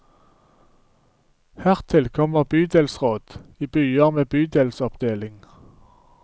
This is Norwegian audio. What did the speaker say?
Hertil kommer bydelsråd i byer med bydelsoppdeling.